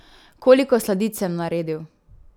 Koliko sladic sem naredil?